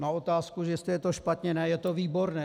Na otázku, jestli je to špatně - ne, je to výborné.